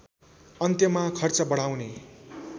अन्त्यमा खर्च बढाउने